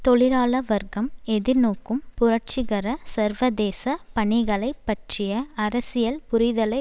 தொழிலாள வர்க்கம் எதிர்நோக்கும் புரட்சிகர சர்வதேச பணிகளை பற்றிய அரசியல் புரிதலை